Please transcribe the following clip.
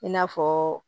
I n'a fɔ